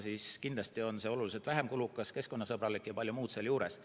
Siis kindlasti on see oluliselt vähem kulukas, oluliselt keskkonnasõbralikum ja palju muud seal juures.